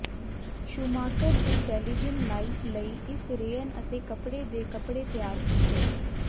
Schumacher ਦੀ ਟੈਲੀਜਿਨ line ਲਈ ਇਸ ਰੇਅਨ ਅਤੇ ਕਪੜੇ ਦੇ ਕੱਪੜੇ ਤਿਆਰ ਕੀਤੇ